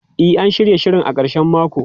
E, an shirya shirin a karshen mako.